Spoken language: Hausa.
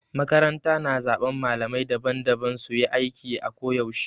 Makaranta na zaben malamai daban-daban su yi aiki a ko yaushe.